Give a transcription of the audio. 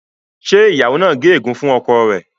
ṣe ìyàwó nà gé egun fún ọkọ rẹ?